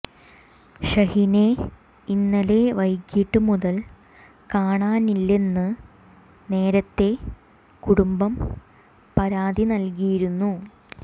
ഷഹീനെ ഇന്നലെ വൈകിട്ട് മുതൽ കാണാനില്ലെന്ന് നേരത്തെ കുടുംബം പരാതി നൽകിയിരുന്നു